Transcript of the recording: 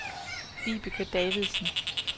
Vibeke Davidsen